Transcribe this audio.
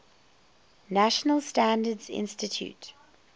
national standards institute